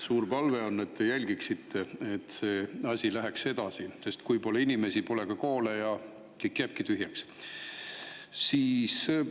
Suur palve on, et te jälgiksite, et see asi läheks edasi, sest kui pole inimesi, pole ka koole ja kõik jääbki tühjaks.